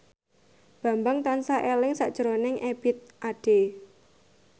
Bambang tansah eling sakjroning Ebith Ade